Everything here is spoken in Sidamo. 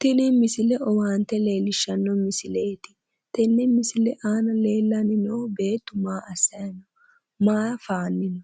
tini misile owaante leellishshano misileeti tenne misile aana leellanni no beetti maa assanni no ?,maa faanni no